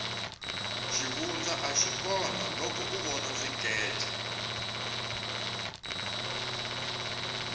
xivundza axi kona loko u vona swikece